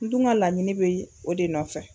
N dun ga laɲini be o de nɔfɛ